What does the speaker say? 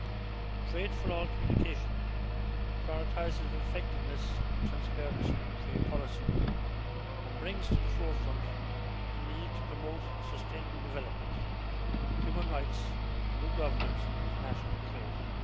The Trade For All' communication prioritises effectiveness and transparency in trade policy and brings to the forefront the need to promote sustainable development, human rights and good governance in international trade.